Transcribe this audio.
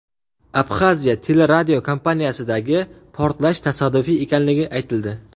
Abxaziya teleradiokompaniyasidagi portlash tasodifiy ekanligi aytildi.